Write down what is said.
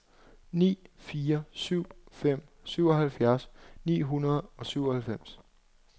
ni fire syv fem syvoghalvtreds ni hundrede og syvoghalvfems